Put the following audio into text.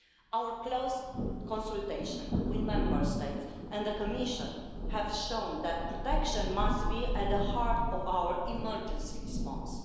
Our close consultations with Member States and the Commission have shown that protection must be at the heart of our emergency response.